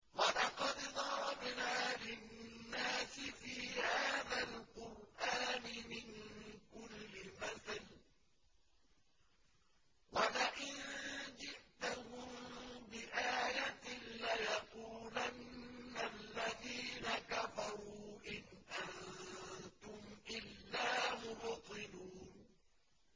وَلَقَدْ ضَرَبْنَا لِلنَّاسِ فِي هَٰذَا الْقُرْآنِ مِن كُلِّ مَثَلٍ ۚ وَلَئِن جِئْتَهُم بِآيَةٍ لَّيَقُولَنَّ الَّذِينَ كَفَرُوا إِنْ أَنتُمْ إِلَّا مُبْطِلُونَ